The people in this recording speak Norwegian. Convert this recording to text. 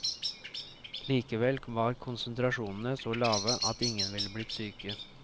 Likevel var konsentrasjonene så lave at ingen ville blitt syke.